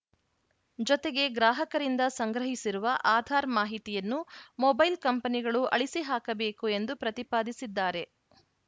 ಜೊತೆಗೆ ಗ್ರಾಹಕರಿಂದ ಸಂಗ್ರಹಿಸಿರುವ ಆಧಾರ್‌ ಮಾಹಿತಿಯನ್ನು ಮೊಬೈಲ್‌ ಕಂಪನಿಗಳು ಅಳಿಸಿಹಾಕಬೇಕು ಎಂದು ಪ್ರತಿಪಾದಿಸಿದ್ದಾರೆ